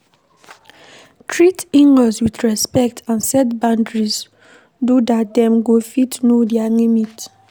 Treat inlaws with respect and set boundaries do dat dem go fit know their limit